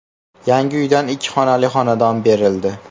Yangi uydan ikki xonali xonadon berildi.